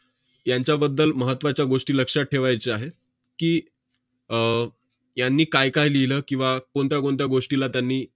यांच्याबद्दल महत्त्वाच्या गोष्टी लक्षात ठेवायच्या आहेत की, अह यांनी कायकाय लिहिलं किंवा कोणत्या कोणत्या गोष्टीला त्यांनी